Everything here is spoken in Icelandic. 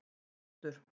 Þróttur